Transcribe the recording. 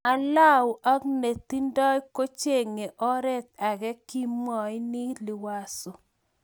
alua ak netindoi kochenge oret age, kimwaini liwazo